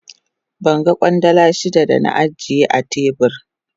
Ban gan Kwandala shida da na ajiye a tebur.